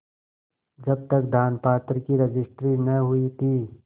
जब तक दानपत्र की रजिस्ट्री न हुई थी